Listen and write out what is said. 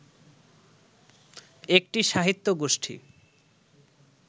একটি সাহিত্যগোষ্ঠী